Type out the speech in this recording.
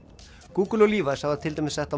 Google og Levis hafa til dæmis sett á